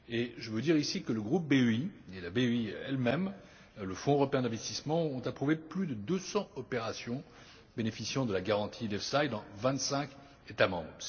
Je veux dire ici que le groupe BEI et la BEI elle même, le Fonds européen d'investissement ont approuvé plus de 200 opérations bénéficiant de la garantie EFSI dans vingt cinq États membres.